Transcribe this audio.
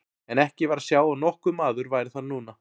En ekki var að sjá að nokkur maður væri þar núna.